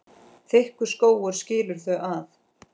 Þykkur skógur skilur þau að.